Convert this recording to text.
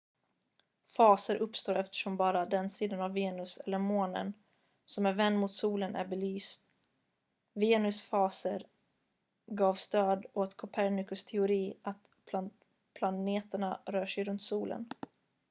faser uppstår eftersom bara den sida av venus eller månen som är vänd mot solen är belyst. venus faser gav stöd åt kopernikus teori att planeterna rör sig runt solen